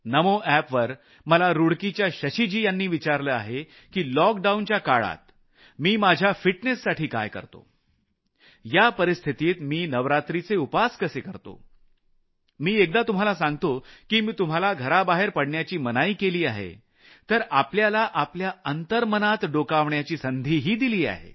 नमो app वर मला रूडकीच्या शशिजी यांनी विचारलं आहे की लॉकडाऊनच्या काळात मी माझ्या फिटनेससाठी काय करतो या परिस्थितीत मी नवरात्रिचे उपास कसे करतो मी पुन्हा एकदा तुम्हाला सांगू इच्छितो की मी तुम्हाला घराबाहेर पडण्याची मनाई केली आहे पण आपल्याला आपल्या अंतर्मनात डोकावण्याची संधीही दिली आहे